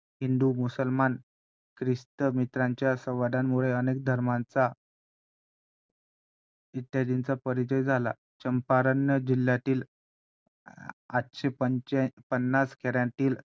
तर पाहून इतकं वाईट वाटलं आणि हे सुद्धा जाणवलं तेव्हा की खरंच मी किती भाग्यवान आहे की मी आता एकविसाव्या शतकामध्ये माझा जन्म झाला आहे.